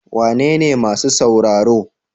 Wanene masu sauraro?